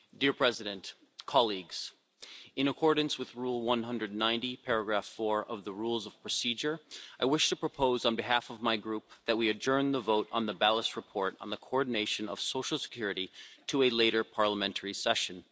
Mr President, in accordance with Rule 190 of the Rules of Procedure, I wish to propose on behalf of my Group that we adjourn the vote on the Balas report on the coordination of social security to a later parliamentary session.